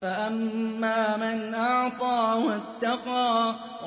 فَأَمَّا مَنْ أَعْطَىٰ وَاتَّقَىٰ